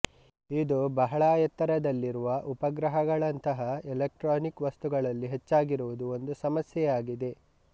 ಇದು ಬಹಳ ಎತ್ತರದಲ್ಲಿರುವ ಉಪಗ್ರಹಗಳಂತಹ ಎಲೆಕ್ಟ್ರಾನಿಕ್ ವಸ್ತುಗಳಲ್ಲಿ ಹೆಚ್ಚಾಗಿರುವುದು ಒಂದು ಸಮಸ್ಯೆಯಾಗಿದೆ